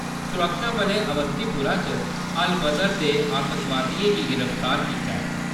सुरक्षाबलें अवंतीपोरा च अल-बदर दे च'ऊं आतंकवादिएं गी गिरफ्तार कीता ऐ।